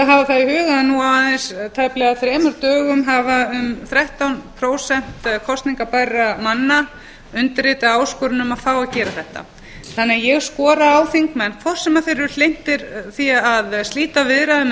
það í huga að nú á aðeins þremur dögum hafa um þrettán prósent kosningarbærra manna undirritað áskorun um að fá að gera þetta þannig að ég skora á þingmenn hvort sem þeir eru hlynntir því að slíta viðræðum eða